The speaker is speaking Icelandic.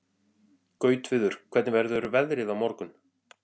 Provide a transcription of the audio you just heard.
Gautviður, hvernig verður veðrið á morgun?